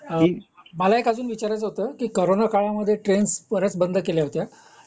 मला अजून एक विचारायच होता की करोना काळामध्ये ट्रेन्स बंद केल्या होत्या